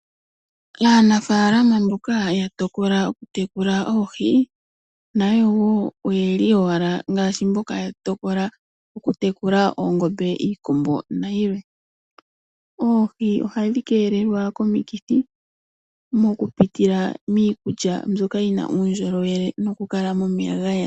Aanafaalama mboka yatokola okutekula oohi nayo wo oyeli owala ngaashi mboka yatokola okutekula oongombe, iikombo nayilwe. Oohi ohadhi keelelwa komikithi mokupitila miikulya mbyoka yina uundjulowele nokukala momeya gayela.